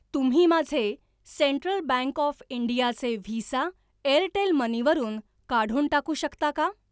तुम्ही माझे Central Bank of इंडियाचे व्हिसा एअरटेल मनी वरून काढून टाकू शकता का?